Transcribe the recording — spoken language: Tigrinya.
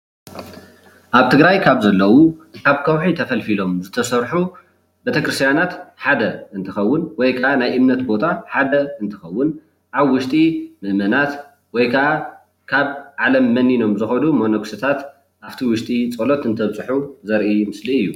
ኣብ ትግራይ ካብ ዘለው ካብ ከውሒ ተፈልፊሎም ዝተሰርሑ ቤተክርስትያናት ሓደ እንትኸውን ወይ ካዓ ናይ እምነት ቦታ ሓደ እንትኸውን ኣብ ውሽጢ መእመናት ወይ ካዓ ካብ ዓለም መኒኖም ዝኸዱ መነኮሴታት ኣብቲ ውሽጢ ፃሎት እንተብፅሑ ዘርኢ ምስሊ እዩ